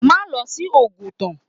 Má lọ sí Oguta!